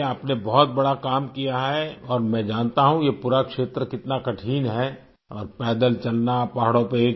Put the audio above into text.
चलिए आपने बहुत बड़ा काम किया है और मैं जानता हूँ ये पूरा क्षेत्र कितना कठिन है और पैदल चलना पहाड़ों पे